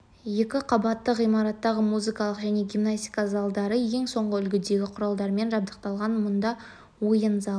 екі қабатты ғимараттағы музыкалық және гимнастика залдары ең соңғы үлгідегі құралдармен жабдықталған мұнда ойын залы